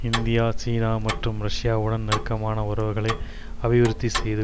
India சீனா மற்றும் ரஷ்யாவுடன் நெருக்கமான உறவுகளை அபிவிருத்திசெய்து